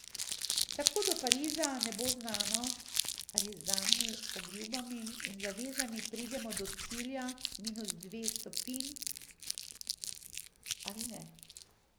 Tako do Pariza ne bo znano, ali z danimi obljubami in zavezami pridemo do cilja minus dveh stopinj ali ne.